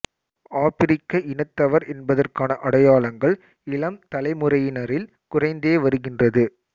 ஆபிரிக்க இனத்தவர் என்பதற்கான அடையாளங்கள் இளம் தலைமுறையினரில் குறைந்தே வருகின்றது